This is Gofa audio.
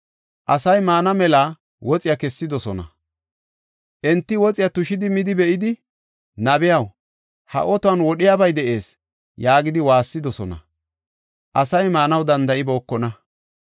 Asay maana mela woxiya kessidosona; enti woxiya tushi bari be7idi, “Nabiyaw, ha otuwan wodhiyabay de7ees” yaagidi waassidosona. Asay maanaw danda7ibookona.